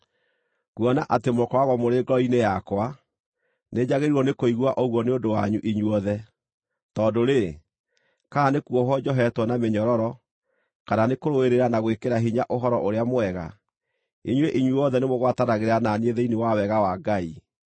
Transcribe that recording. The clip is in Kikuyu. Kuona atĩ mũkoragwo mũrĩ ngoro-inĩ yakwa, nĩ njagĩrĩirwo nĩkũigua ũguo nĩ ũndũ wanyu inyuothe; tondũ-rĩ, kana nĩ kuohwo njohetwo na mĩnyororo, kana nĩ kũrũĩrĩra na gwĩkĩra hinya Ũhoro-ũrĩa-Mwega, inyuĩ inyuothe nĩmũgwatanagĩra na niĩ thĩinĩ wa wega wa Ngai.